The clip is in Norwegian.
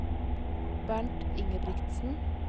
Bernt Ingebrigtsen